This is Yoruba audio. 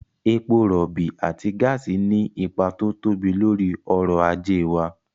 Epo rọ̀ọ̀bì àti gáàsì ní ipa tó tóbi lórí ọ̀rọ̀ ajé wa